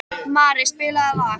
Mari, spilaðu lag.